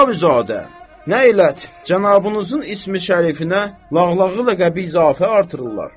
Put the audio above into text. Əxavizadə, nə ələt, cənabınızın ismi-şərifinə lağlağı ləqəbi izafə artırırlar.